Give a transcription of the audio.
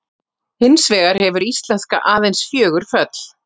Hins vegar hefur íslenska aðeins fjögur föll.